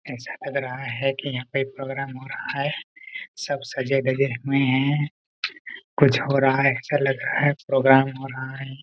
ऐसा लग रहा है कि यहां पर प्रोग्राम हो रहा है सब सजे-धजे हुए हैं कुछ हो रहा है ऐसा लग रहा है प्रोग्राम हो रहा है।